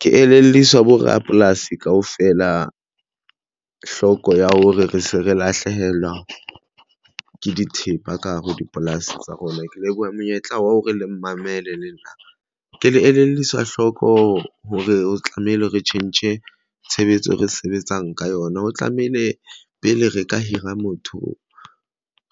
Ke elelliswa bo rapolasi kaofela hloko ya hore re se re lahlehelwa ke dithepa ka hare ho dipolasi tsa rona. Ke leboha monyetla wa ho re le mmamele le nna ke le elelliswa hloko hore o tlamehile re tjhentjhe tshebetso e re sebetsang ka yona ho tlamehile pele re ka hira motho